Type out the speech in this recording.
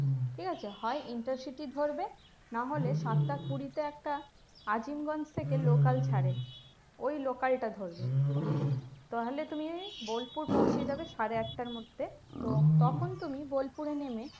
ঠিক আছে হয় intercity ধরবে না হলে সাতটা কুড়িতে একটা আজিমগঞ্জ থেকে local ছাড়ে ওই local টা ধরবে তাহলে তুমি বোলপুর পৌঁছে যাবে সাড়ে আটটার মধ্যে তো তখন তুমি বোলপুরে নেমে